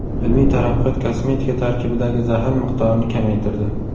Ilmiy taraqqiyot kosmetika tarkibidagi zahar miqdorini kamaytirdi.